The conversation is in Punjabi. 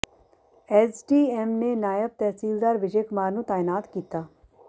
ਐੱਸਡੀਐੱਮ ਨੇ ਨਾਇਬ ਤਹਿਸੀਲਦਾਰ ਵਿਜੈ ਕੁਮਾਰ ਨੂੰ ਤਾਇਨਾਤ ਕੀਤਾ